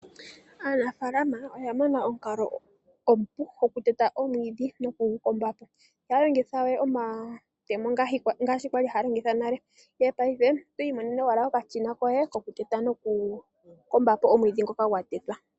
Aanafaalama oya mona omukalo omupu goku teta omwiidhi noku gu kombapo. Ihaya longithawe omatemo ngaashi kwali haya longitha nale. Ihe paife oto imonene owala okashina koye koku teta noku kombapo omwiidhi ngoka gwa tetwa.